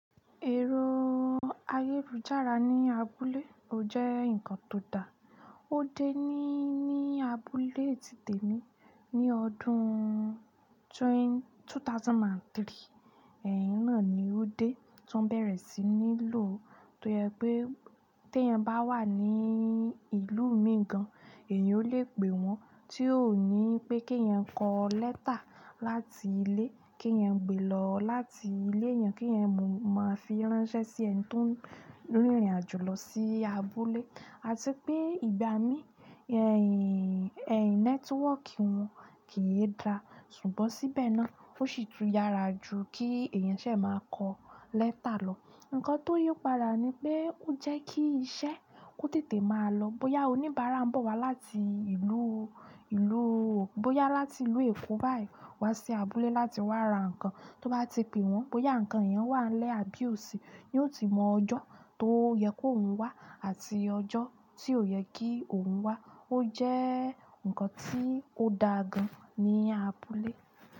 Ẹrọ ayélujára ní abúlé ò jẹ́ ǹnkan tó da. Ó dé ní abúlé tìté mi ní ọdún two thousand and three. Iná ni ó dé ti wọn bẹ̀rẹ̀ sí ní lò tó jẹ pé teyan bá wà ní ìlú mìí gan, èèyàn ó lè pè wọ́n tí ò ní pé kí èèyàn kọ lẹ́tà láti ilé kí èèyàn gbé lọ láti ilé èèyàn kí èèyàn máa fi ránṣẹ́ sí ẹ̀ni tó n rìnrìn àjò lọ sí abúlé. Àti pé ìgbà mí network wọn ke e da, ṣùgbọ́n síbẹ̀ náà ó sì tún yára ju kí èèyàn ṣẹ̀ máa kọ lẹ́tà lọ. Ǹnkan tó yípadà ni pé ó jẹ́ kí iṣẹ́ kó tètè máa lọ. Bóyá oníbàárà ń bọ̀ wá bóyá láti ìlú Èkó báyìí wá sí abúlé láti wá ra ǹnkan, tó bá ti pè wọ́n bóyá ǹnkan yẹn wà n lè àbí òsí, yóò ti mọ ọjọ́ tó yẹ kó òun wá àti ọjọ́ tí ò yẹ kí òun wá. Ó jẹ́ ǹnkan tí ó da gan ní abúlé.